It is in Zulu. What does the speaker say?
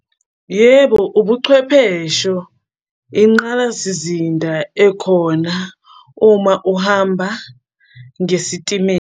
Yebo, ubuchwephesho, inqalasizinda ekhona uma uhamba ngesitimela.